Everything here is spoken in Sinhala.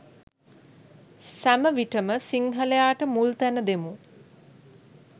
සැම විටම සිංහලයාට මුල් තැන දෙමු.